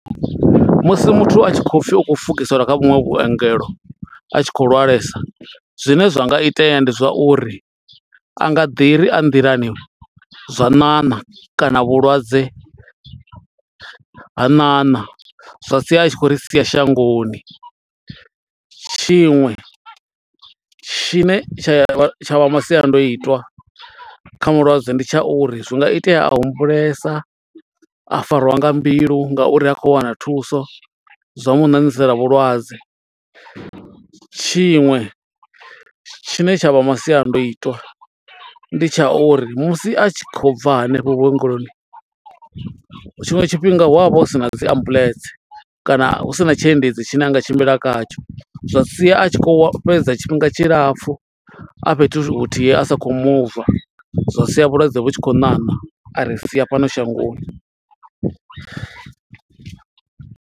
Musi muthu a tshi khou pfi u khou fukiselwa kha vhuṅwe vhuongelo, a tshi khou lwalesa. Zwine zwa nga itea ndi zwa uri, a nga ḓi ri a nḓilani zwa ṋaṋa kana vhulwadze u ha ṋaṋa, zwa sia a tshi khou ri sia shangoni. Tshiṅwe tshine tsha vha masiandoitwa kha mulwadze ndi tsha uri zwi nga itea a humbulesa, a farwa nga mbilu nga uri ha khou wana thuso, zwa mu ṋaṋisana vhulwadze. Tshiṅwe tshine tsha vha masiandoitwa ndi tsha uri musi a tshi khou bva hanefho vhuongeloni, tshiṅwe tshifhinga hu avha hu sina dzi ambuḽentse kana hu sina tshiendedzi tshine a nga tshimbila khatsho. Zwa sia a tshi khou fhedza tshifhinga tshilapfu, a fhethu huthihi a sa khou muva. Zwa sia vhulwadze vhu tshi khou ṋaṋa a ri sia fhano shangoni.